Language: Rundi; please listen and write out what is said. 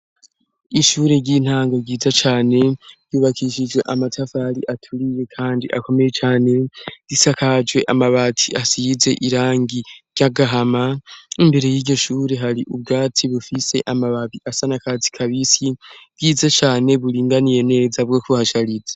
Ishure ry'intanga ryiza cane ryubakishijwe amatafari aturiye, kandi akomeye cane gisakajwe amabati asize irangi ry'agahama imbere y'igishure hari ubwatsi bufise amababi asana kazi kabisi ryiza cane buringaniye neza bwo kuhashariza.